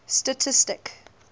stastistic